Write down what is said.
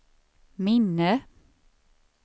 minne